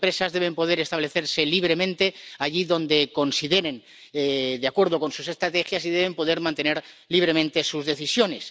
Las empresas deben poder establecerse libremente allí donde consideren, de acuerdo con sus estrategias, y deben poder mantener libremente sus decisiones.